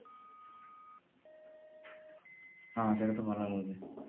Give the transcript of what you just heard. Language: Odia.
ହଁ ସେଇଟା ତ ଭଲ ରହୁଛି